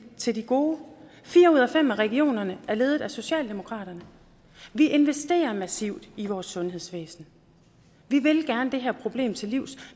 til de gode fire ud af fem af regionerne er ledet af socialdemokratiet vi investerer massivt i vores sundhedsvæsen vi vil gerne komme det her problem til livs